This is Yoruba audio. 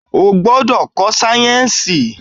O gbọdọ̀ ko sáyẹ̀nsì!